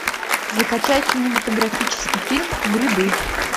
закачай кинематографический фильм грибы